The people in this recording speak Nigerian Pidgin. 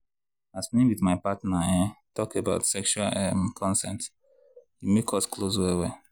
as me with my partner um talk about sexual um consent e come make us close well well.